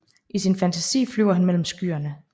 I sin fantasi flyver han mellem skyerne